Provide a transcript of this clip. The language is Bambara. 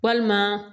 Walima